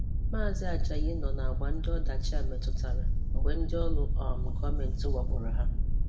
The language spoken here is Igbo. Maazi Ajayi nọ na-agba ndị ọdachị a metụtara mgbe ndị ọrụ um gọọmentị wakporo ya.